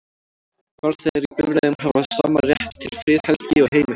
Farþegar í bifreiðum hafa sama rétt til friðhelgi og heima hjá sér.